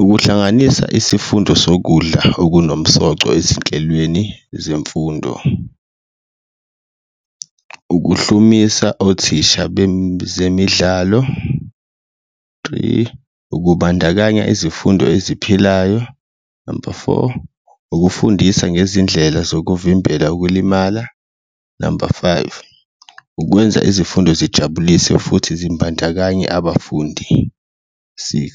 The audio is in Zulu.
Ukuhlanganisa isifundo sokudla okunomsoco ezinhlelweni zemfundo, ukuhlomisa othisha , three, ukubandakanya izifundo eziphilayo, number four, ukufundisa ngezindlela zokuvimbela ukulimala, number five, ukwenza izifundo zijabulise futhi zimbandakanye abafundi, six,